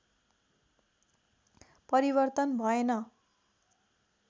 परिवर्तन भएन